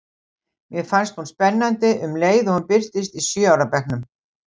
Mér fannst hún spennandi um leið og hún birtist í sjö ára bekknum.